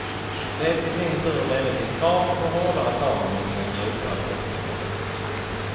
Det i sin tur ledde till krav på hårdare tag mot den grova brottsligheten.